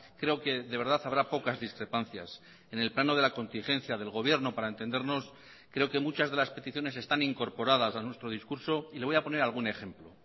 creo que de verdad habrá pocas discrepancias en el plano de la contingencia del gobierno para entendernos creo que muchas de las peticiones están incorporadas a nuestro discurso y le voy a poner algún ejemplo